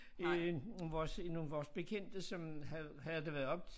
Øh vores nogle vores bekendte som havde havde været deroppe